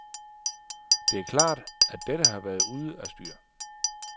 Det er klart, at dette har været ude af styr.